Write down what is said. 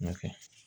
N'o tɛ